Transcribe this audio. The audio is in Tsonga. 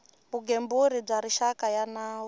vugembuli bya rixaka ya nawu